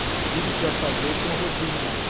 Eles, tudo que vai fazer, tem um rodízio lá.